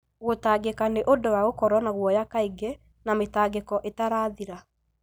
Gũtangĩka nĩ ũndũ wa gũkorwo na guoya kaingĩ na mĩtangĩko ĩtarathira.